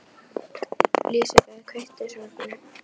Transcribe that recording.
Lisbeth, kveiktu á sjónvarpinu.